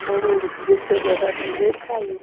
A mamãe desceu da jardineira e caiu.